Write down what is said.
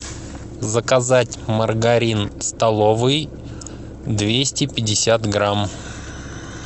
заказать маргарин столовый двести пятьдесят грамм